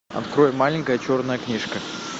открой маленькая черная книжка